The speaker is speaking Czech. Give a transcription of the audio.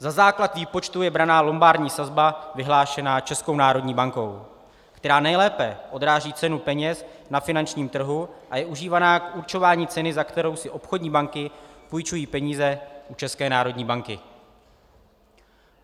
Za základ výpočtu je brána lombardní sazba vyhlášená Českou národní bankou, která nejlépe odráží cenu peněz na finančním trhu a je užívána k určování ceny, za kterou si obchodní banky půjčují peníze u České národní banky.